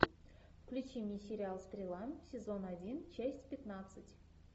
включи мне сериал стрела сезон один часть пятнадцать